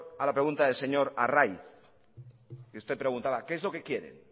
a la pregunta del señor arraiz usted preguntaba qué es lo que quieren